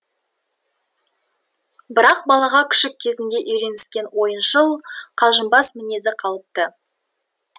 бірақ балаға күшік кезінде үйреніскен ойыншыл қалжыңбас мінезі қалыпты